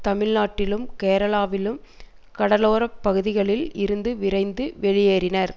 தமிழ்நாட்டிலும் கேரளாவிலும் கடலோறப்பகுதிகளில் இருந்து விரைந்து வெளியேறினர்